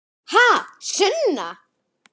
Ha, Sunna?